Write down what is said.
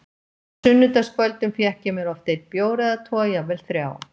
Á sunnudagskvöldum fékk ég mér oft einn bjór eða tvo, jafnvel þrjá.